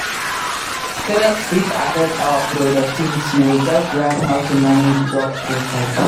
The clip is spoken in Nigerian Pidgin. Stress fit affect our productivity; we gats learn how to manage work properly.